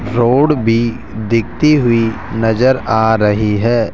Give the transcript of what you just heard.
Road भी दिखती हुई नजर आ रही है।